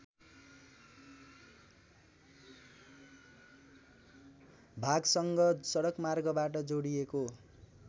भागसँग सडकमार्गबाट जोडिएको